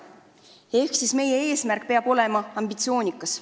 Seega meie eesmärk peab olema ambitsioonikas.